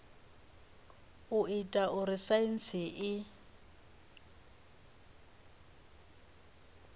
u ita uri saintsi i